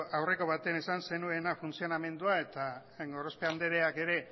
aurreko batean esan zenuena funtzionamendua eta gorospe andreak ere